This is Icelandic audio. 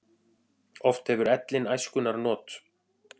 Oft hefur ellin æskunnar not.